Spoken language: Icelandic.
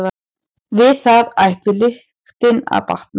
Við það ætti lyktin að batna.